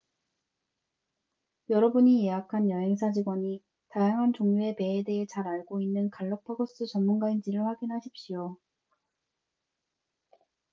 여러분이 예약한 여행사 직원이 다양한 종류의 배에 대해 잘 알고 있는 갈라파고스 전문가인지를 확인하십시오